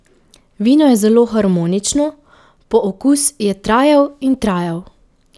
Vino je zelo harmonično, pookus je trajal in trajal.